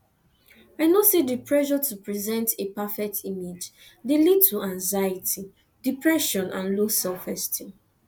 i know say di pressure to present a perfect image dey lead to anxiety depression and low selfesteem